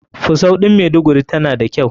Fusau ɗin maiduguri tana da kyau.